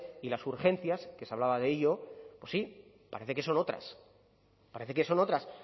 y las urgencias que se hablaba de ello pues sí parece que son otras parece que son otras